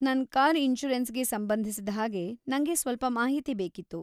ನನ್‌ ಕಾರ್‌ ಇನ್ಷೂರೆನ್ಸ್‌ಗೆ ಸಂಬಂಧಿಸಿದ ಹಾಗೆ ನಂಗೆ ಸ್ವಲ್ಪ ಮಾಹಿತಿ ಬೇಕಿತ್ತು.